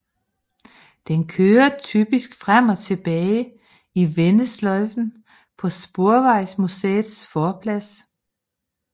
Den kører typisk frem og tilbage i vendesløjfen på Sporvejsmuseets forplads